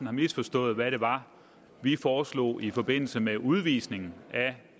har misforstået hvad det var vi foreslog i forbindelse med udvisning